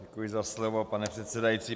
Děkuji za slovo, pane předsedající.